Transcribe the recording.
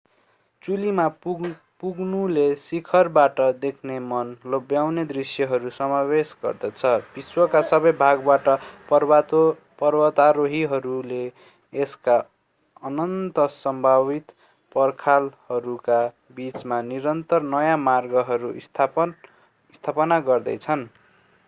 चुलीमा पुग्नुले शिखरबाट देखिने मन लोभ्याउने दृश्यहरू समावेश गर्दछ विश्वका सबै भागबाट पर्वतारोहीहरूले यसका अनन्त सम्भावित पर्खालहरूका बीचमा निरन्तर नयाँ मार्गहरू स्थापना गर्दैछन्